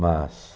Mas...